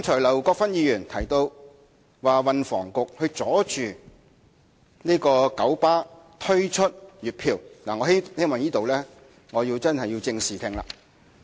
劉國勳議員剛才提到運輸及房屋局阻撓九巴推出月票計劃，我希望以正視聽。